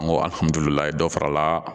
N ko dɔ farala